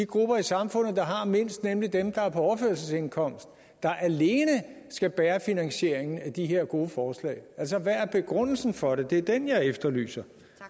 grupper i samfundet der har mindst nemlig dem der er på overførselsindkomst der alene skal bære finansieringen af de her gode forslag altså hvad er begrundelsen for det det er den jeg efterlyser